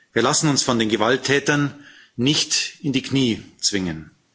Wir lassen uns von den Gewalttätern nicht in die Knie zwingen.